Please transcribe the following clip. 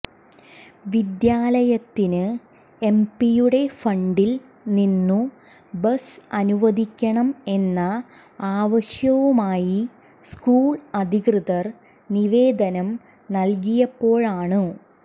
വിദ്യാലയത്തിന് എംപിയുടെ ഫണ്ടിൽ നിന്നു ബസ് അനുവദിക്കണം എന്ന ആവശ്യവുമായി സ്കൂൾ അധികൃതർ നിവേദനം നൽകിയപ്പോഴാണു